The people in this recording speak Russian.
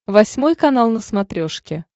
восьмой канал на смотрешке